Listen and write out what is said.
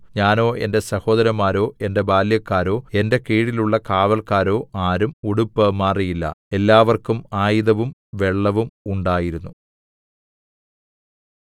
ഞാനോ എന്റെ സഹോദരന്മാരോ എന്റെ ബാല്യക്കാരോ എന്റെ കീഴിലുള്ള കാവല്ക്കാരോ ആരും ഉടുപ്പ് മാറിയില്ല എല്ലാവര്‍ക്കും ആയുധവും വെള്ളവും ഉണ്ടായിരുന്നു